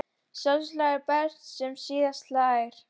Sá hlær best sem síðast hlær!